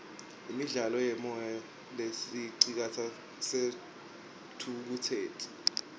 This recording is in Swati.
imidlalo yemoya lesicitsa sithukutseti